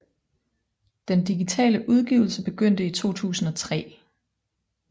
Den digitale udgivelse begyndte i 2003